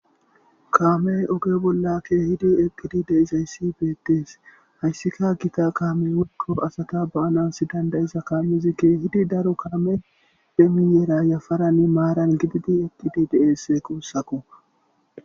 Kaamey oge bollakke hidi eqqidi deizayssi beettees hayssika gita kaamey wekko asata baanas dandayiza kaamizikke hidi daro kaame demiyeera yafaranne maaran gididi eqqidi deesse quussako